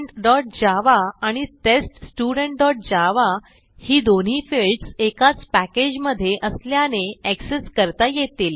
studentजावा आणि teststudentजावा ही दोन्ही फिल्डस एकाच पॅकेज मधे असल्याने एक्सेस करता येतील